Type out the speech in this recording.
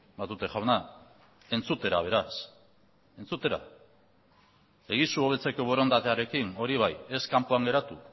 matute jauna entzutera beraz entzutera egizu hobetzeko borondatearekin hori bai ez kanpoan geratu